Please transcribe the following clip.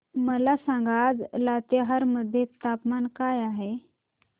मला सांगा आज लातेहार मध्ये तापमान काय आहे